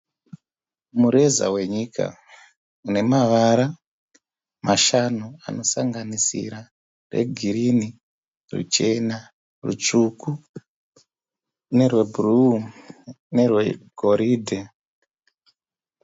mureza wenyika inevara mashanu anosanganisira rwegirinhi, ruchana, rutsvuku, nerwebhuruwu nerwegoridhe.